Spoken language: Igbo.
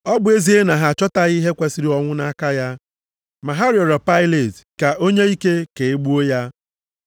Ọ bụ ezie na ha achọtaghị ihe kwesiri ọnwụ nʼaka ya. Ma ha rịọrọ Pailet ka o nye ike ka e gbuo ya.